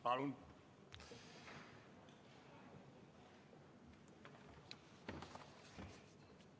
Palun!